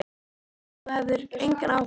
Ég hélt að þú hefðir engan áhuga.